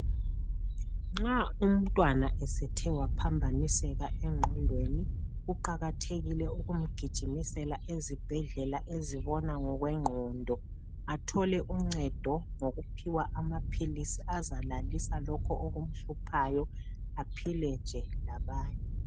Nxa umntwana esethe waphambaniseka engqondweni kuqakathekile ukumgijimisela ezibhedlela ezibona ngokwengqondo, athole uncedo ngokuphiwa amaphilisi azalalisa lokho okumhluphayo aphile nje labanye.